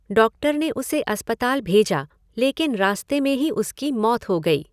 Doctor ने उसे अस्पताल भेजा, लेकिन रास्ते में ही उसकी मौत हो गई।